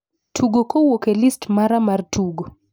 tugo kowuok e list mara mar tugo